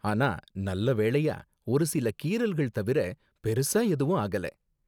ஆனா நல்ல வேளையா, ஒரு சில கீறல்கள் தவிர பெருசா எதுவும் ஆகல.